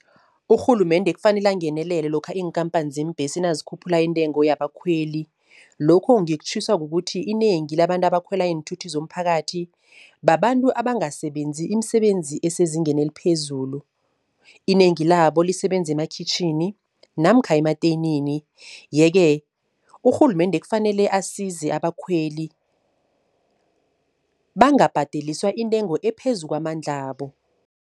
Urhulumende kufanele angenelele lokha iinkhampani zeembhesi nazikhuphula intengo yabakhweli. Lokhu ngikutjhiswa kukuthi inengi labantu abakhwela iinthuthi zomphakathi, babantu abangasebenzi imisebenzi esezingeni eliphezulu. Inengi labo lisebenza emakhitjhini namkha emateyinini. Yeke urhulumende kufanele asize abakhweli bangabhadeliswa intengo ephezu kwamandlabo.